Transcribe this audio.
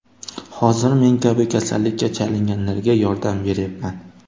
Hozir men kabi kasallikka chalinganlarga yordam beryapman.